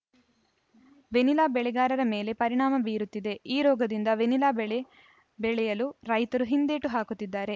vanilla ಬೆಳೆಗಾರರ ಮೇಲೆ ಪರಿಣಾಮ ಬೀರುತ್ತಿದೆ ಈ ರೋಗದಿಂದ ವೆನಿಲಾ ಬೆಳೆ ಬೆಳೆಯಲು ರೈತರು ಹಿಂದೇಟು ಹಾಕುತ್ತಿದ್ದಾರೆ